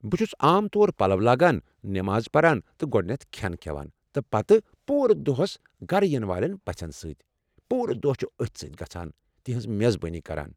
بہٕ چھس عام طور پلو لاگان، نماز پران، تہٕ گۄڑنیتھ کھٮ۪ن کھٮ۪وان، تہٕ پتہٕ پوٗرٕ دۄہَس گھرٕ یِنہٕ والٮ۪ن پژھٮ۪ن سۭتۍ ، پوٗرٕ دۄہ چُھ أتھۍ سۭتۍ گژھان ، تہنٛز میزبٲنی کران ۔